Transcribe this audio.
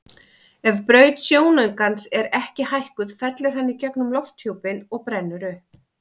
Ef braut sjónaukans er ekki hækkuð fellur hann í gegnum lofthjúpinn og brennur upp.